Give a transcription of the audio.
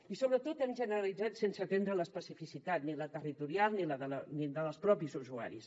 i sobretot han generalitzat sense atendre l’especificitat ni la territorial ni la dels propis usuaris